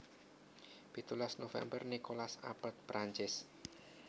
Pitulas november Nicolas Appert Perancis